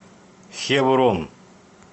хеврон